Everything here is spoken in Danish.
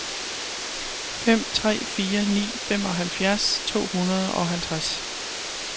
fem tre fire ni femoghalvfjerds to hundrede og halvtreds